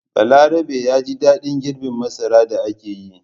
Balarabe ya ji daɗin girbe masara da aka yi.